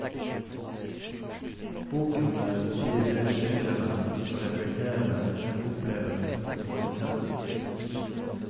Boken blir mer skildrende og reflekterende enn opplevet og intens.